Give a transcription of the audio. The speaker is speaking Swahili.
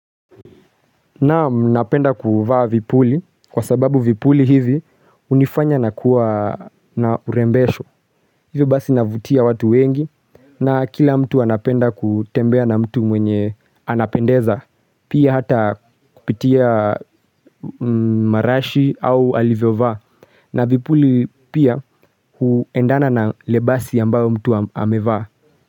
Naam napenda kuvaa vipuli kwa sababu vipuli hivi hunifanya na kuwa na urembesho. Hivyo basi navutia watu wengi na kila mtu anapenda kutembea na mtu mwenye anapendeza. Pia hata kupitia marashi au alivyovaa. Na vipuli pia huendana na lebasi ambayo mtu amevaa.